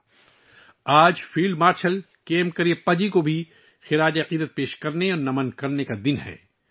آج کا دن field marshal K M Cariappa ji کو عقیدت کے ساتھ خراج عقیدت پیش کرنے کا بھی دن ہے